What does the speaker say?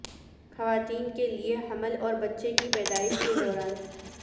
خواتین کے لیے حمل اور بچے کی پیدائش کے دوران